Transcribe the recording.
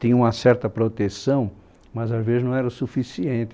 Tinha uma certa proteção, mas, às vezes, não era o suficiente.